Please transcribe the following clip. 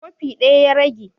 Kofi ɗaya ya rage